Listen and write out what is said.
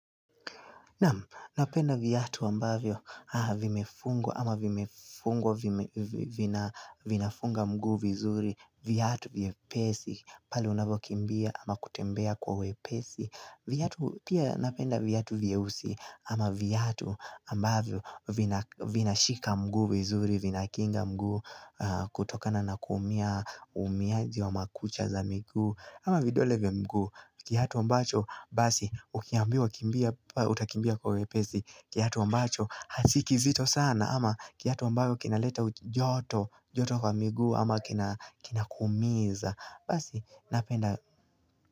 Napenda viatu ambavyo vimefungwa ama vimefungwa vinafunga mguu vizuri viatu viepesi pale unavokimbia ama kutembea kwa wepesi Pia napenda viatu vyeusi ama viatu ambavyo vinashika mguu vizuri vinakinga mguu kutokana na kuumia uumiajii wa makucha za mguu ama vidole vya mguu. Kiatu ambacho basi ukiambiwa kimbia utakimbia kwa wepesi. Kiatu ambacho hasikizito sana ama kiatu ambayo kinaleta ujoto joto kwa miguu ama kinakuumiza basi napenda.